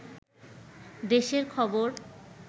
দেশের খবর